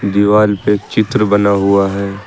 दीवाल पे चित्र बना हुआ है।